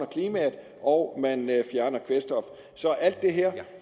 klimaet og fjerner kvælstoffet så alt det her